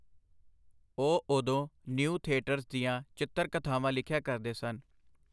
ਉਹ ਓਦੋਂ New Theatres ਦੀਆਂ ਚਿੱਤਰ-ਕਥਾਵਾਂ ਲਿਖਿਆ ਕਰਦੇ ਸਨ.